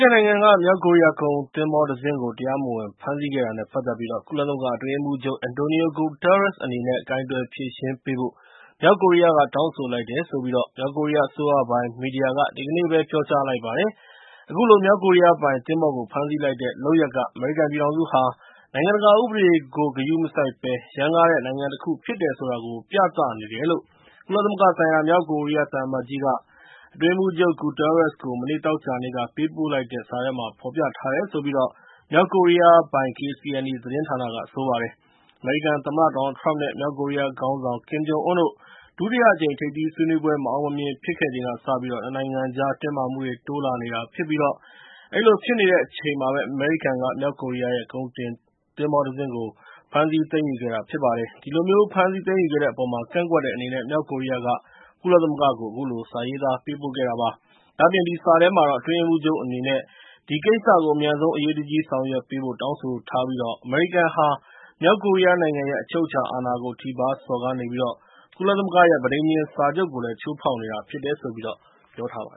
်နိုင်ငံက မြောက်ကိုရီးယားကုန်သင်္ဘောတစင်းကို တရားမဝင်ဖမ်းဆီးခဲ့တာနဲ့ ပတ်သက်ပြီး ကုလသမဂ္ဂအတွင်းရေးမှူးချုပ် Antonio Guterres အနေနဲ့ ကိုင်တွယ်ဖြေရှင်းပေးဖို့ မြောက်ကိုရီးယားက တောင်းဆိုလိုက်တယ်လို့ မြောက်ကိုရီးယားအစိုးရပိုင် မီဒီယာက ဒီကနေ့ ပြောကြားလိုက်ပါတယ်။ အခုလို မြောက်ကိုရီးယားပိုင်သင်္ဘောကို ဖမ်းဆီးလိုက်တဲ့လုပ်ရပ်က ၊ အမေရိကန်ပြည်ထောင်စုဟာ နိုင်ငံတကာဥပဒေကို ဂရုမစိုက်ဘက်က ရမ်းကားတဲ့ နိုင်ငံတခုဖြစ်တယ်ဆိုတာ ပြသနေတယ်လို့ ကုလသမဂ္ဂဆိုင်ရာ မြောက်ကိုရီးယား သံအမတ်ကြီးက အတွင်းရေးမှူးချုပ် Guterres ကို မနေ့သောကြာနေ့က ပေးပို့လိုက်တဲ့ စာထဲမှာ ဖော်ပြထားတယ်လို့ မြောက်ကိုရီးယားပိုင် KCNA သတင်းဌာနက ဆိုပါတယ်။ အမေရိကန်သမ္မတ ဒေါ်နယ်လ်ထရမ့် နဲ့ မြောက်ကိုရီးယားခေါင်းဆောင် ကင်ဂျုံအွန်းတို့ ဒုတိယအကြိမ် ထိပ်သီးဆွေးနွေးပွဲ မအောင်မမြင်ဖြစ်ခဲ့ပြီးချိန်ကစပြီး၊ ၂ နိုင်ငံကြားမှာ တင်းမာမှုတွေ တိုးလာနေတဲ့အချိန်မှာ အမေရိကန် မြောက်ကိုရီးယား ရဲ့ ကုန်တင်သင်္ဘော တစင်းကို သိမ်းယူခဲ့တာဖြစ်ပါတယ်။ ဒီလိုမျိုးဖမ်းဆီးသိမ်းယူခဲ့တဲ့အပေါ်မှာ ကန့်ကွက်တဲ့အနေနဲ့ မြောက်ကိုရီးယားက ကုလသမဂ္ဂကို အခုလို စာရေးသား ပေးပို့ခဲ့တာဖြစ်ပါတယ်။ ဒါ့အပြင် ဒီစာထဲမှာ အတွင်းရေးမှူးချုပ်အနေနနဲ့ ဒီကိစ္စကို အမြန်ဆုံး အရေးတကြီးဆောင်ရွက်ပေးဖို့ တောင်းဆိုထားပြီး၊ အမေရိကန်ဟာ မြောက်ကိုရီးယားနိုင်ငံရဲ့ အချုပ်အချာအာဏာကို ထိပါးစော်ကားနေပြီး၊ ကုလသမဂ္ဂ ပဋိဉာဉ်စာချုပ်ကို ချိုးဖောက်နေတာဖြစ်တယ်လို့ ပြောထားပါတ